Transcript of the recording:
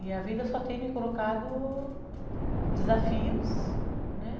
E a vida só tem me colocado desafios, né?